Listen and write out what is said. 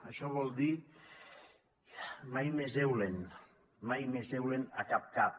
això vol dir mai més eulen mai més eulen a cap cap